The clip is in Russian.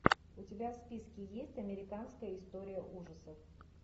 у тебя в списке есть американская история ужасов